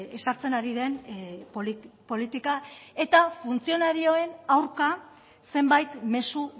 ezartzen ari den politika eta funtzionarioen aurka zenbait mezu